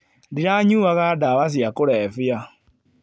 Ndiranyuaga ndawa cia kũrebia